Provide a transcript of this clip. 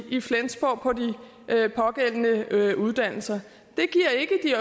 i flensborg på de pågældende uddannelser